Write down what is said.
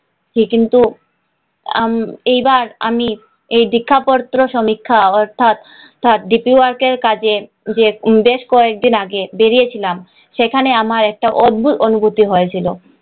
কিন্তু উম এইবার আমি এই দীক্ষা পত্র সমীক্ষা অর্থাৎ dp work এ কাজে বেশ কয়েকদিন আগে বেরিয়েছিলাম, সেখানে আমার একটা অদ্ভুত অনুভূতি হয়েছিল।